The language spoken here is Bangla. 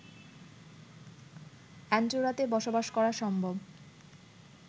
অ্যান্ডোরাতে বসবাস করা সম্ভব